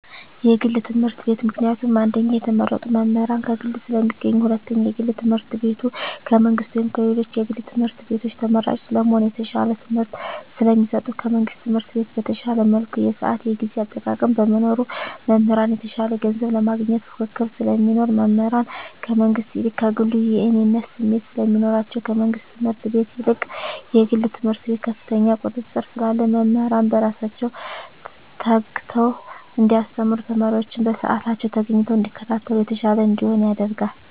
የግል ትምህርት ቤት። ምክንያቱም አንደኛ የተመረጡ መምህራን ከግል ስለሚገኙ ሁለተኛ የግል ትምህርት ቤቱ ከመንግስት ወይም ከሌሎች የግል ትምህርት ቤቶች ተመራጭ ለመሆን የተሻለ ትምህርት ስለሚሰጡ። ከመንግስት ትምህርት ቤት በተሻለ መልኩ የስአት የጊዜ አጠቃቀም በመኖሩ። መምህራን የተሻለ ገንዘብ ለማግኘት ፉክክር ስለሚኖር። መምህራን ከመንግስት ይልቅ ከግሉ የእኔነት ስሜት ስለሚኖራቸዉ። ከመንግስት ትምህርት ቤት ይልቅ የግል ትምህርት ቤት ከፍተኛ ቁጥጥር ስላለ መምህራን በስራቸዉ ተግተዉ እንዲያስተምሩ ተማሪወችም በስአታቸዉ ተገኝተዉ እንዲከታተሉ የተሻለ እንዲሆን ያደርጋል።